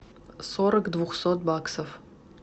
сорок двухсот баксов